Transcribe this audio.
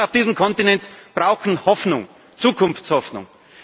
Die Menschen auf diesem Kontinent brauchen Hoffnung, Zukunftshoffnung.